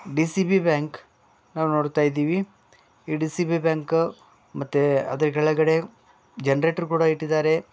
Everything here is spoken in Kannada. ಡಿ_ಸಿ_ಬಿ ಬ್ಯಾಂಕ್ ನಾವ್ ನೋಡ್ತಯ್ದಿವಿ ಈ ಡಿ_ಸಿ_ಬಿ ಬ್ಯಾಂಕು ಮತ್ತೇ ಅದ್ರ್ ಕೆಳಗಡೆ ಜೆನ್ರೇಟ್ರು ಕೂಡ ಇಟ್ಟಿದಾರೆ.